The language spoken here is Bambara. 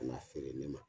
Ka na feere ne ma